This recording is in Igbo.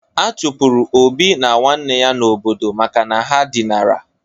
A chụpụrụ Obi na nwanne ya n'obodo maka na ha dinara.